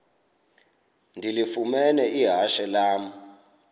ndilifumene ihashe lam